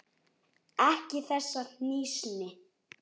Ekki þessa hnýsni.